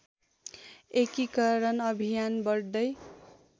एकीकरण अभियान बढ्दै